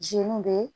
be